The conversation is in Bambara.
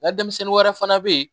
Nka denmisɛnnin wɛrɛ fana bɛ yen